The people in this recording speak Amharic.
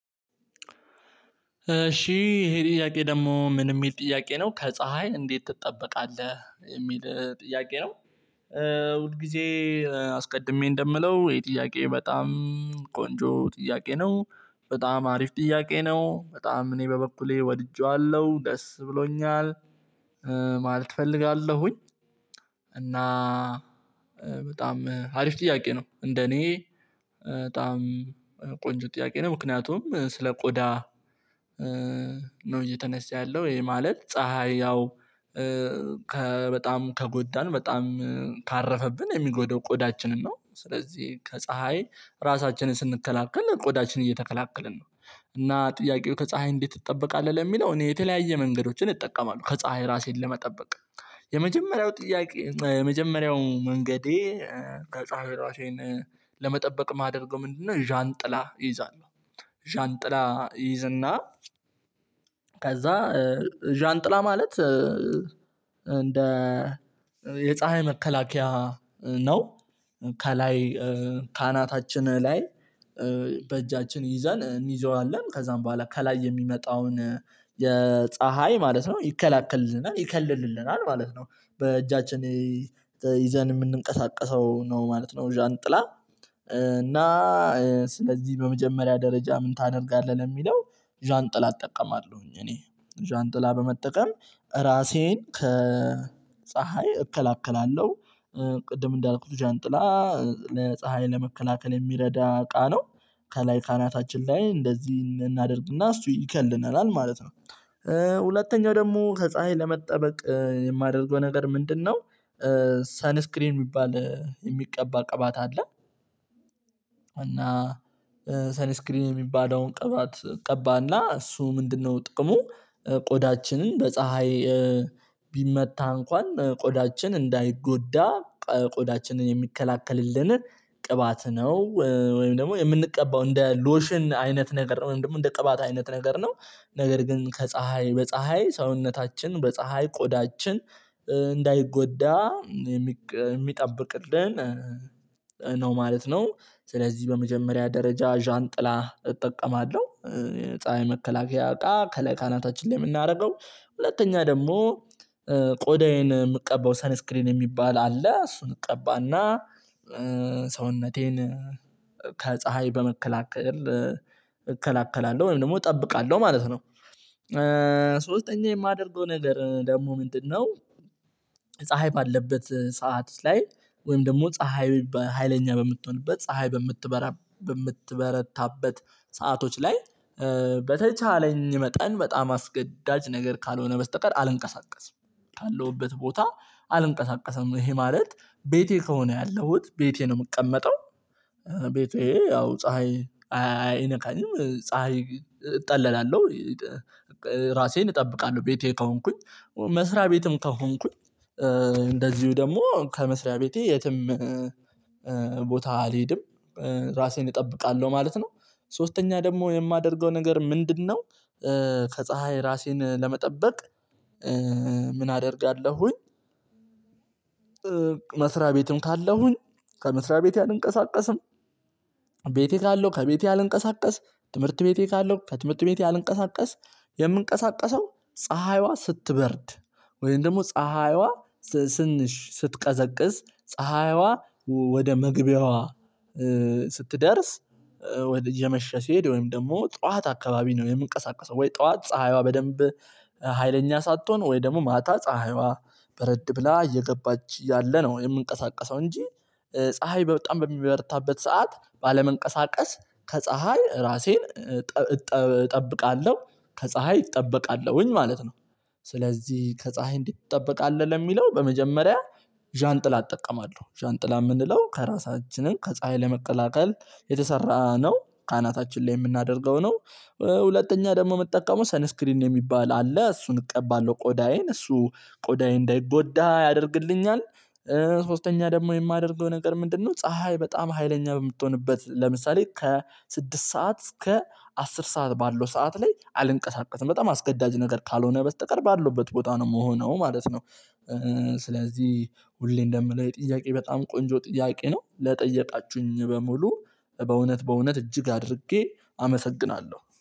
እሺ ይሄ ጥያቄ ደግሞ ምን የሚል ጥያቄ ነው ከፀሀይ እንዴት ትጠበቃለህ? ጥያቄ ነው። ሁል ጊዜ አስቀድሜ እንደምለው ይሄ ጥያቄ በጣም ቆንጆ ጥያቄ ነው በጣም አሪፍ ጥያቄ ነው በጣም እኔ በበኩሌ ወድጄዋለሁ ደስ ብሎኛል ማለት እፈልጋለሁኝ። እና። በጣም አሪፍ ጥያቄ ነው እንደኔ በጣም ቆንጆ ጥያቄ ነው ምክንያቱም ስለ ቆዳ ነው እየተነሳ ያለው ይሄ ማለት ፀሀይ ያው ከበጣም ከጎዳን በጣም ካረፈብን የሚጎደው ቆዳችንን ነው ስለዚህ ከፀሀይ ራሳችንን ስንከላከል ቆዳችንን እየተከላከልን ነው። እና ጥያቄው ከፀሀይ እንዴት ትጠበቃለህ ለሚለው እኔ የተለያየ መንገዶችን ይጠቀማሉ ከፀሀይ ራሴን ለመጠበቅ። የመጀመሪያው ጥያቄ የመጀመሪያው መንገዴ ከፀሀይ ራሴን ለመጠበቅ ማደርገው ምንድነው ዣንጥላ እይዛለሁ። ዣንጥላ እይዝና ከዛ ዣንጥላ ማለት እንደ የፀሀይ መከላከያ ነው ከላይ ከአናታችን ላይ በእጃችን ይዘን እንይዘዋለን ከዛም በኋላ ከላይ የሚመጣውን የፀሀይ ማለት ነው ይከለክልልናል ይከልልልናል ማለት ነው። በእጃችን ይዘን የምንንቀሳቀሰው ነው ማለት ነው። ዣንጥላ እና ስለዚህ በመጀመሪያ ደረጃ ምን ታደርጋለህ ለሚለው ዣንጥላ እጠቀማለሁኝ እኔ ዣንጥላ በመጠቀም ራሴን ከፀሀይ እከላከላለሁ። ቅድም እንዳልኩት ዣንጥላ ለፀሀይ ለመከላከል የሚረዳ እቃ ነው ከላይ ካናታችን ላይ እንደዚህ እናደርግና እሱ ይከልለናል ማለት ነው። ሁለተኛው ደግሞ ከፀሀይ ለመጠበቅ የማደርገው ነገር ምንድነው? ሳንስክሪን የሚባል የሚቀባ ቅባት አለ። እና ሰንስክሪን የሚባለውን ቅባት እቀባና እሱ ምንድነው ጥቅሙ ቆዳችንን በፀሀይ ቢመታ እንኳን ቆዳችን እንዳይጎዳ ቆዳችንን የሚከላከልልንን ቅባት ነው። ወይም ደግሞ የምንቀባው እንደ ሎሽን አይነት ነገር ወይም ደግሞ እንደ ቅባት አይነት ነገር ነው። ነገር ግን ከፀሀይ በፀሀይ ሰውነታችን በፀሀይ ቆዳችን እንዳይጎዳ የሚጠብቅልን ማለት ነው። ስለዚህ በመጀመሪያ ደረጃ ዣንጥላ እጠቀማለሁ። ፀሀይ መከላከያ አቃ ከላይ ካናታችን ላይ የምናደርገው ሁለተኛ ደግሞ ቆዳዬን የምቀበው ሰንስክሪን የሚባል አለ እሱን እቀባና ሰውነቴን ከፀሀይ በመከላከል እከላከላለሁ ወይም ደግሞ እጠብቃለሁ ማለት ነው። ሶስተኛ የማደርገው ነገር ደግሞ ምንድነው? ፀሀይ ባለበት ሰዓት ላይ ወይም ደግሞ ፀሀይ በሃይለኛ በምትሆንበት ፀሀይ በምትበረታበት ሰአቶች ላይ መጠን በጣም አስገዳጅ ነገር ካልሆነ በስተቀር አልንቀሳቀስም። ካለሁበት ቦታ አልንቀሳቀሰም ይሄ ማለት ቤቴ ከሆነ ያለሁት ቤቴ ነው የምቀመጠው። ቤቴ ያው ፀሀይ አይነካኝም ፀሀይ እጠለላለሁ። ራሴን እጠብቃለሁ ቤቴ ከሆንኩኝ መስሪያ ቤትም ከሆንኩኝ እንደዚሁ ደግሞ ከመስሪያ ቤቴ የትም አልሄድም ራሴን እጠብቃለሁ ማለት ነው። ሶስተኛ ደግሞ የማደርገው ነገር ምንድነው? ከፀሀይ ራሴን ለመጠበቅ ምን አደርጋለሁኝ። መስሪያ ቤትም ካለሁኝ ከመስሪያ ቤት አልንቀሳቀስም። ቤቴ ካለው ከቤቴ አልንቀሳቀስ ትምህርት ቤቴ ካለው ከትምህርት ቤቴ አልንቀሳቀስ። የምንቀሳቀሰው ፀሀይዋ ስትበርድ ወይም ደግሞ ፀሀይዋ ትንሽ ስትቀዘቅዝ ፀሀይዋ ወደ መግቢያዋ ስትደርስ ወደ እየመሸ ሲሄድ ወይም ደግሞ ጠዋት አካባቢ ነው የምንቀሳቀሰው ወይ ጠዋት ፀሀይዋ በደንብ ሀይለኛ ሳትሆን ወይ ደግሞ ማታ ፀሀይዋ በረድ ብላ እየገባች ያለ ነው የምንቀሳቀሰው እንጂ ፀሀይ በጣም በሚበረታበት ሰዓት ባለመንቀሳቀስ ከፀሀይ ራሴን እጠብቃለሁ ከፀሀይ እጠበቃለሁኝ ማለት ነው። ስለዚህ ከፀሀይ እንድትጠብቃለን ለሚለው በመጀመሪያ ዣንጥላ እጠቀማለሁ ዣንጥላ የምንለው ከራሳችንን ከፀሀይ ለመቀላቀል የተሰራ ነው ከአናታችን ላይ የምናደርገው ነው። ሁለተኛ ደግሞ እመጠቀመው ሰንስክሪን የሚባል አለ እሱን እቀባለሁ ቆዳዬን እሱ ቆዳዬ እንዳይጎዳ ያደርግልኛል። ሶስተኛ ደግሞ የማደርገው ነገር ምንድነው ፀሀይ በጣም ሀይለኛ በምትሆንበት ለምሳሌ ከስድስት ሰዓት እስከ አስር ሰዓት ባለው ሰዓት ላይ አልንቀሳቀስም በጣም አስገዳጅ ነገር ካልሆነ በስተቀር ባለውበት ቦታ ነው የምሆነው ማለት ነው። ስለዚህ ሁሌ እንደምለው ይሄ ጥያቄ በጣም ቆንጆ ጥያቄ ነው ለጠየቃችሁኝ በሙሉ በእውነት በእውነት እጅግ አድርጌ አመሰግናለሁ